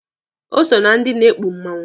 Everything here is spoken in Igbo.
O so na ndị na-ekpu mmanwụ.